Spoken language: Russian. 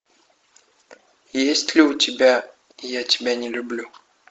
есть ли у тебя я тебя не люблю